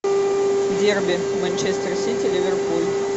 дерби манчестер сити ливерпуль